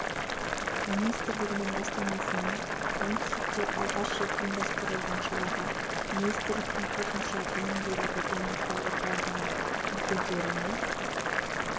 министрлігінің бастамасымен оңтүстікте алғаш рет ұйымдастырылған шараға министрліктің қосымша білім беруді дамыту орталығының өкілдері мен